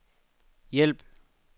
hjælp